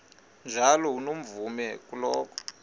njalo unomvume kuloko